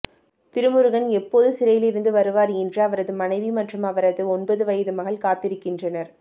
திருமுருகன் எப்போது சிறையிலிருந்து வருவார் என்று அவரது மனைவி மற்றும் அவரது ஒன்பது வயது மகள் காத்திருக்கின்றனர்